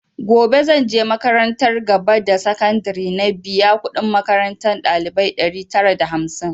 Gobe zanje makarantar gaba da sakandare na biya kudin makarantar ɗalibai ɗari tara da hamsin